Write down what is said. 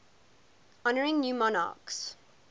honouring new monarchs